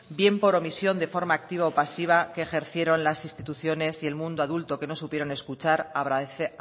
bien por omisión de forma activa o pasiva que ejercieron las instituciones y el mundo adulto que no supieron escuchar